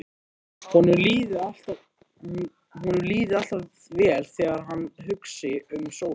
Honum líði alltaf vel þegar hann hugsi um sólina.